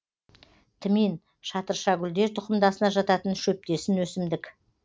тмин шатыршагүлдер тұқымдасына жататын шөптесін өсімдік